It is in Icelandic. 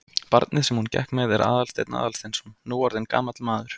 Barnið sem hún gekk með er Aðalsteinn Aðalsteinsson, nú orðinn gamall maður.